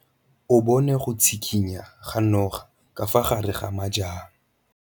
O bone go tshikinya ga noga ka fa gare ga majang.